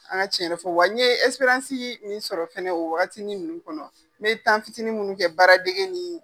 An ka tiɲɛ yɛrɛ fɔ wa n ye min sɔrɔ fana o wagatinin ninnu kɔnɔ n ye fitiinin minnu kɛ baaradege ni.